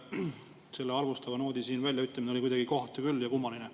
Selle halvustava noodi väljaütlemine siin oli küll kuidagi kohatu ja kummaline.